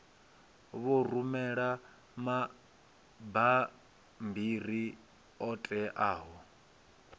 vho rumela mabammbiri oṱhe a